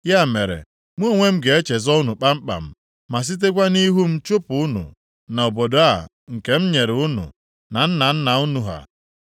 Ya mere, mụ onwe m ga-echezo unu kpamkpam ma sitekwa nʼihu m chụpụ unu na obodo a nke m nyere unu na nna nna unu ha.